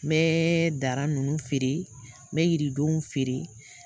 N bɛ dara ninnu fɛɛrɛ, mɛ yiridow fɛɛrɛ.